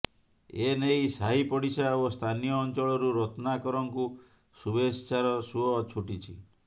ଏ ନେଇ ସାହି ପଡିଶା ଓ ସ୍ଥାନୀୟ ଅଞ୍ଚଳରୁ ରତ୍ନାକରଙ୍କୁ ଶୁଭେଚ୍ଛାର ସୁଅ ଛୁଟିଛି